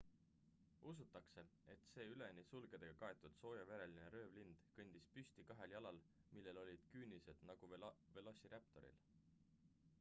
usutakse et see üleni sulgedega kaetud soojavereline röövlind kõndis püsti kahel jalal millel olid küünised nagu velociraptoril